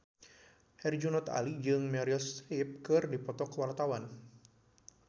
Herjunot Ali jeung Meryl Streep keur dipoto ku wartawan